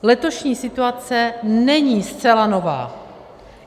Letošní situace není zcela nová.